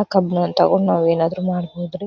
ಆ ಕಬ್ಣಾನ್ ತಗೊಂಡ್ ನಾವ್ ಏನಾದ್ರು ಮಾಬಹುದ್ರಿ